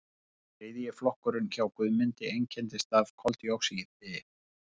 þriðji flokkurinn hjá guðmundi einkennist af koldíoxíði